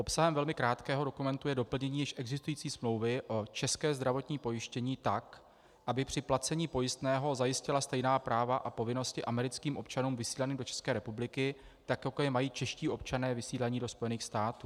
Obsahem velmi krátkého dokumentu je doplnění již existující smlouvy o českém zdravotním pojištění tak, aby při placení pojistného zajistila stejná práva a povinnosti americkým občanům vysílaným do České republiky tak, jako je mají čeští občané vysílaní do Spojených států.